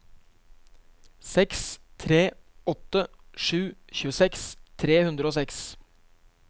seks tre åtte sju tjueseks tre hundre og seks